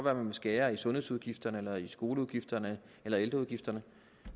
at man vil skære i sundhedsudgifterne eller i skoleudgifterne eller i ældreudgifterne